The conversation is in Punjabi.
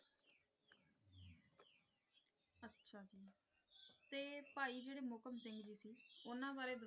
ਤੇ ਭਾਈ ਜਿਹੜੇ ਮੋਹਕਮ ਸਿੰਘ ਜੀ ਸੀ ਉਹਨਾਂ ਬਾਰੇ